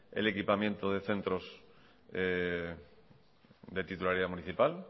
el equipamiento de centros de titularidad municipal